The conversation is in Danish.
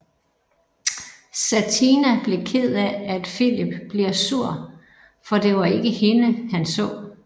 Satina bliver ked af at Filip bliver sur for det var ikke hende han så